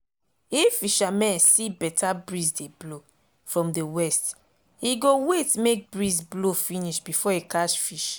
if fishermen see better breeze dey blow from the west e go wait make breeze blow finish before e catch fish